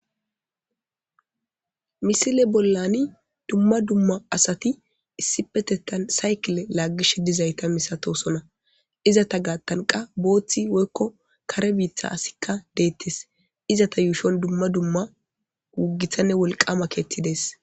Missile bollan dumma dumma asati issipetetan saykkile laggishe dizayssa masatosona izzeta geththan qassi booththi woykko kare biitta asikka dettes izzetta yushshon dumma dumma gittane wolqqama keththay dessi.